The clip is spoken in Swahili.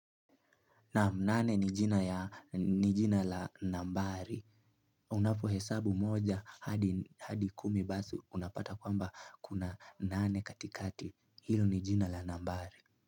Naam nane ni jina ya ni jina la nambari. Unapohesabu moja hadi kumi basi unapata kwamba kuna nane katikati. Hio ni jina la nambari.